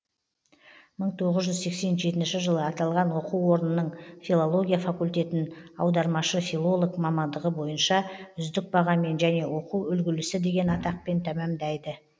мың тоғыз жүз сексен жетінші жылы аталған оқу орнының филология факультетін аудармашы филолог мамандығы бойынша үздік бағамен және оқу үлгілісі деген атақпен тәмәмдайды